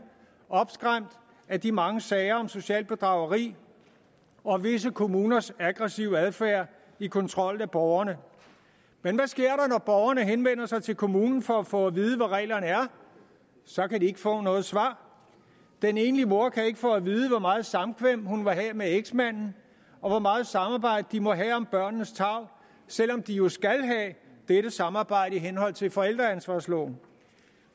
opskræmt af de mange sager om socialt bedrageri og visse kommuners aggressive adfærd i kontrollen af borgerne men hvad sker der borgerne henvender sig til kommunen for at få at vide hvad reglerne er så kan de ikke få noget svar den enlige mor kan ikke få at vide hvor meget samkvem hun må have med eksmanden og hvor meget samarbejde de må have om børnenes tarv selv om de jo skal have dette samarbejde i henhold til forældreansvarsloven